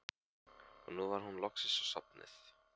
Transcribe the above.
Og nú var hún loksins sofnuð.